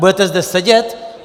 Budete zde sedět?